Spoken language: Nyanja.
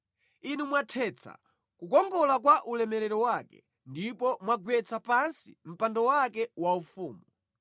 Inu mwathetsa kukongola kwa ulemerero wake ndipo mwagwetsa pansi mpando wake waufumu.